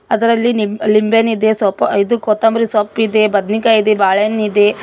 ಅದರಲ್ಲಿ ನಿಂಬೆ ಲಿಂಬೆಹಣ್ಣಿದೆ ಸೊಪ್ ಇದು ಕೊತ್ತಂಬರಿ ಸೊಪ್ಪಿದೆ ಬದನಿಕಾಯಿ ಇದೆ ಬಾಳೆಹಣ್ಣಿದೆ --